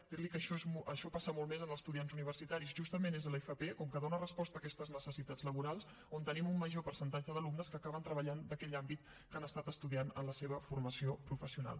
dir li que això passa molt més amb estudiants universitaris justament és a l’fp com que dóna resposta a aquestes necessitats laborals on tenim un major percentatge d’alumnes que acaben treballant d’aquell àmbit que han estat estudiant en la seva formació professional